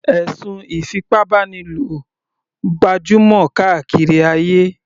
Ẹ̀sùn ìfipábánilò gbajúmọ̀ kárí ayé.